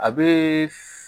A bɛ